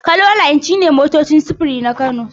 Kano line shi ne sunan motocin sufuri na Kano.